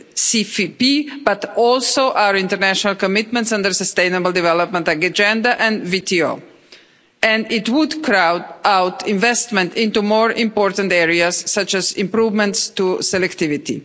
the CFP, but also our international commitments under the sustainable development agenda under the WTO. It would crowd out investment into more important areas such as improvements to selectivity.